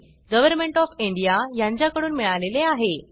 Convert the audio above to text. government of India कडून मिळाले आहे